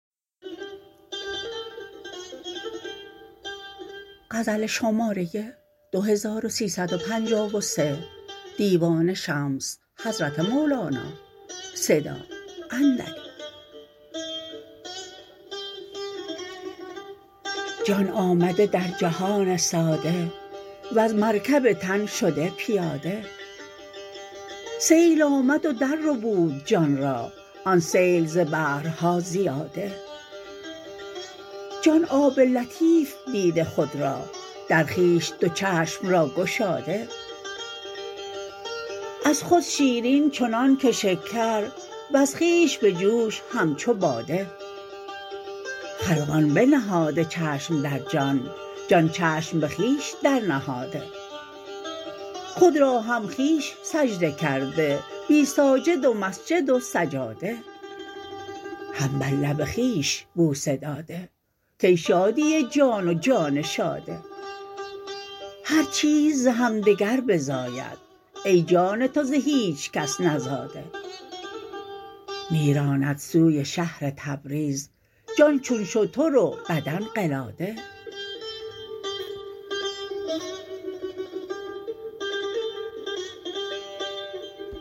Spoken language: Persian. جان آمده در جهان ساده وز مرکب تن شده پیاده سیل آمد و درربود جان را آن سیل ز بحرها زیاده جان آب لطیف دیده خود را در خویش دو چشم را گشاده از خود شیرین چنانک شکر وز خویش بجوش همچو باده خلقان بنهاده چشم در جان جان چشم به خویش درنهاده خود را هم خویش سجده کرده بی ساجد و مسجد و سجاده هم بر لب خویش بوسه داده کای شادی جان و جان شاده هر چیز ز همدگر بزاید ای جان تو ز هیچ کس نزاده می راند سوی شهر تبریز جان چون شتر و بدن قلاده